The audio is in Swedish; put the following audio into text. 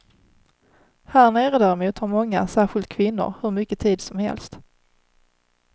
Härnere däremot har många, särskilt kvinnor, hur mycket tid som helst.